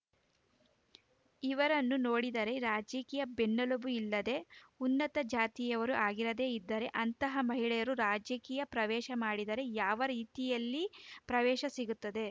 ಇವರನ್ನು ನೋಡಿದರೆ ರಾಜಕೀಯ ಬೆನ್ನೆಲುಬು ಇಲ್ಲದೆ ಉನ್ನತ ಜಾತಿಯವರು ಆಗಿರದೇ ಇದ್ದರೆ ಅಂತಹ ಮಹಿಳೆಯರು ರಾಜಕೀಯ ಪ್ರವೇಶ ಮಾಡಿದರೆ ಯಾವ ರೀತಿಯಲ್ಲಿ ಪ್ರವೇಶ ಸಿಗುತ್ತದೆ